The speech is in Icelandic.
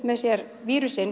með sér